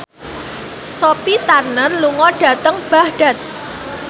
Sophie Turner lunga dhateng Baghdad